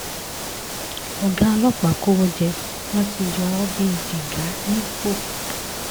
ọ̀gá ọlọ́pàá kọ́wọ́ jẹ wọ́n ti yọ ọ́ bíi jígà nípò